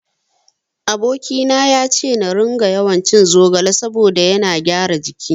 Aboki na yace na ringa yawancin zogale saboda ya gyara jiki.